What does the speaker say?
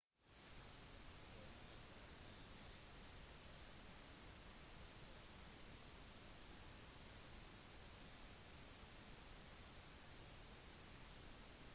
formålet er å gi selskapene mer kontroll over markedene sine det handler om å tjene mye penger